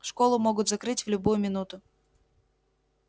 школу могут закрыть в любую минуту